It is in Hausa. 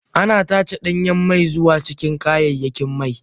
Ana tace danyen mai zuwa cikin kayayyakin mai.